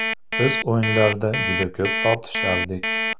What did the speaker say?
Biz o‘yinlarda juda ko‘p tortishardik.